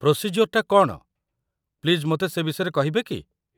ପ୍ରୋସିଜ୍ୟୋର୍‌ଟା କ'ଣ, ପ୍ଲିଜ୍ ମୋତେ ସେ ବିଷୟରେ କହିବେ କି?